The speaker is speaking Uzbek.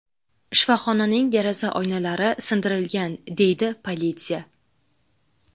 Shifoxonaning deraza oynalari sindirilgan”, – deydi politsiya.